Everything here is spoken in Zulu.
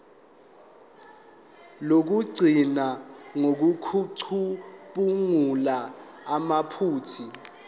lokugcina ngokucubungula amaphutha